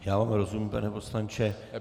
Já vám rozumím, pane poslanče.